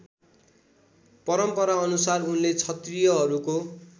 परम्पराअनुसार उनले क्षत्रियहरूको